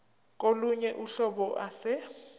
kolunye uhlobo ase